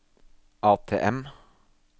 ATM